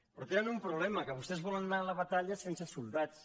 però tenen un problema que vostès volen anar a la batalla sense sol·dats